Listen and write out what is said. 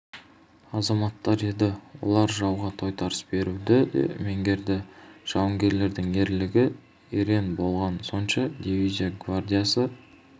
азаматтар еді олар жауға тойтарыс беруді де меңгерді жауынгерлердің ерлігі ерен болғаны сонша дивизия гвардиясы